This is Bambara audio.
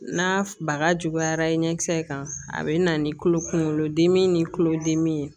N'a baga juguyara i ɲɛ kisɛ in kan a bɛ na ni kolo kunkolodimi ni kulo dimi ye